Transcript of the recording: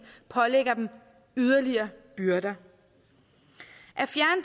pålægger dem yderligere byrder